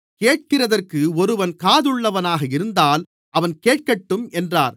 கேட்கிறதற்கு ஒருவன் காதுள்ளவனாக இருந்தால் அவன் கேட்கட்டும் என்றார்